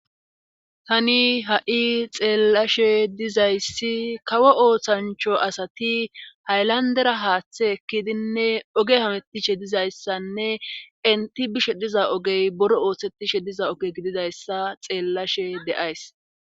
Tani ha7i xeellashe dizayssi kawo ooththancho asati haylandera haaththe ekkidinne oge hametishe dizayssanne inti bishe diza ogey boro ooththettishe diza oge gididayssa xeellashe de7ays.